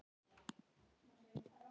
Alli gaf henni illt auga.